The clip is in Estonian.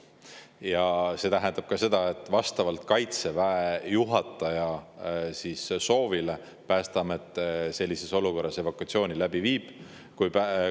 Ja see tähendab seda, et vastavalt Kaitseväe juhataja soovile Päästeamet viib sellises olukorras läbi evakuatsiooni.